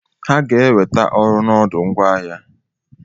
Ha ga-enweta ọrụ n'ọdụ ngwaahịa.